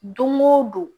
Don go don